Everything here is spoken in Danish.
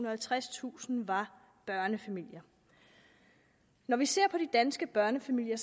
og halvtredstusind var børnefamilier når vi ser på de danske børnefamilier